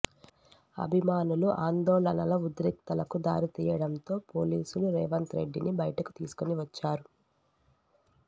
అభిమానుల ఆందోళనల ఉద్రిక్తతలకు దారితియ్యడంతో పోలీసులు రేవంత్ రెడ్డిని బయటకు తీసుకువచ్చారు